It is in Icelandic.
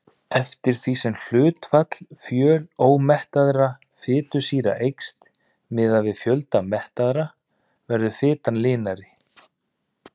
Eftir því sem hlutfall fjölómettaðra fitusýra eykst miðað við fjölda mettaðra verður fitan linari.